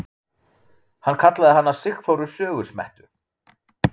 Hann kallaði hana Sigþóru sögusmettu.